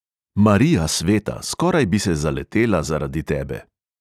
"Marija sveta, skoraj bi se zaletela zaradi tebe."